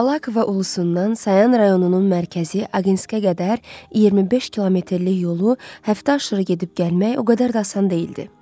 Abalakova Ulusundan Sayan rayonunun mərkəzi Aginskaya qədər 25 kilometrlik yolu həftə aşırı gedib gəlmək o qədər də asan deyildi.